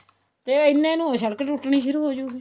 ਤੇ ਐਨੇ ਨੂੰ ਸੜਕ ਟੁੱਟਣੀ ਸ਼ੁਰੂ ਹੋ ਹੋਜੂਗੀ